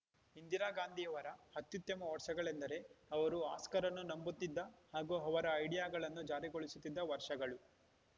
ಇಂದಿರಾ ಗಾಂಧಿಯವರ ಅತ್ಯುತ್ತಮ ವರ್ಷಗಳೆಂದರೆ ಅವರು ಹಸ್ಕರ್‌ರನ್ನು ನಂಬುತ್ತಿದ್ದ ಹಾಗೂ ಅವರ ಐಡಿಯಾಗಳನ್ನು ಜಾರಿಗೊಳಿಸುತ್ತಿದ್ದ ವರ್ಷಗಳು